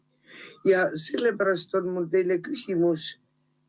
Ja sellepärast on mul teile küsimus.